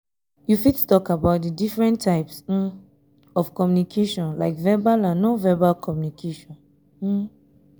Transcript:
you fit talk about di different types um of communication like verbal and non-verbal communication. um